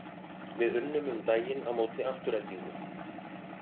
Við unnum um daginn á móti Aftureldingu.